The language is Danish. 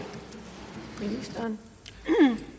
som